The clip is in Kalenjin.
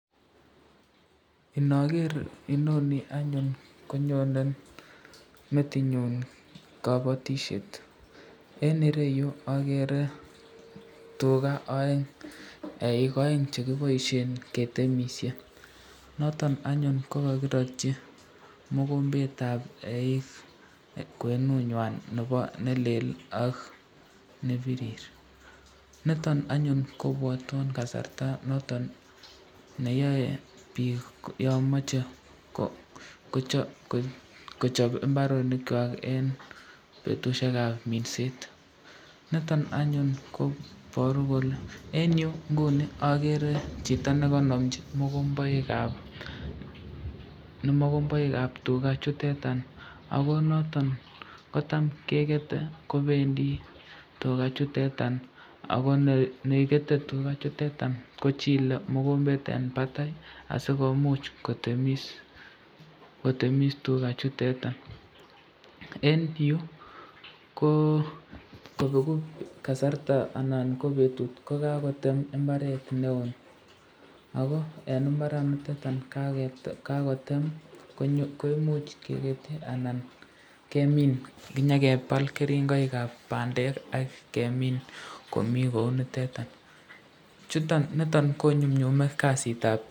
Imager inoni anyun konyone metinyun kabatisyet, eng ireyu agere tuka aeng, eik aeng chekiboisyen ketemisyen, noton anyun ko kakiratyi mokombetab eik kwenunywan nelelak nebirir, niton anyun kobwatwon kasarta anyun noton neyae bik yon mache kochab imbarenikwak eng betushekab minset, niton anyun kobarun kole eng yu inguni agere chito nekanamchi mokombeikab tuka chutetan, ako noton kotam kekete kobendi tukachuteta akobendi tukachuteta kochile mokombet eng batai asikomuche kotemis tukachuteta, eng yu ko kobeku kasarta anan ko betut kokakotem imbaret neo, ako eng imbaraniton kaketem koimuch kemin kounitetani.